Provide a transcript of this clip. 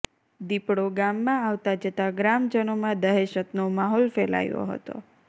દીપડો ગામમાં આવતા જતા ગ્રામજનોમાં દહેશતનો માહોલ ફેલાયો હતો